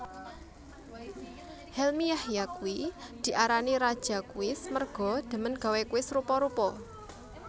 Helmy Yahya kuwi diarani raja kuis merga demen gawe kuis rupa rupa